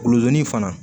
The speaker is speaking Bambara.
Luzonni fana